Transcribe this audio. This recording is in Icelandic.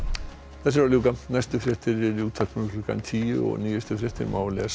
þessu er að ljúka næstu fréttir eru í útvarpinu klukkan tíu og nýjustu fréttir má lesa